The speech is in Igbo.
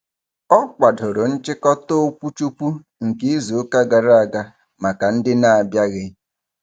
Ọ kwadoro nchịkọta okwuchukwu nke izuụka gara aga maka ndị n'abịaghị.